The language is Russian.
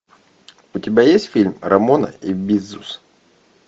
у тебя есть фильм рамона и бизус